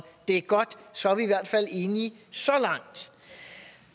det er godt så er vi i hvert fald enige så langt